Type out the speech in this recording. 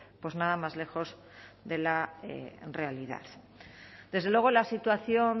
pues nada más lejos de la realidad desde luego la situación